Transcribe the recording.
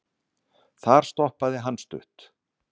þar stoppaði hann stutt